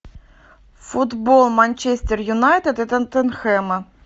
футбол манчестер юнайтед и тоттенхэма